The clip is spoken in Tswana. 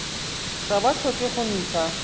ga ba tlhoke go ntsha